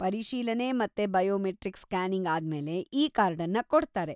ಪರಿಶೀಲನೆ ಮತ್ತೆ biometric scanning ಆದ್ಮೇಲೆ ಇ-ಕಾರ್ಡನ್ನ ಕೊಡ್ತಾರೆ.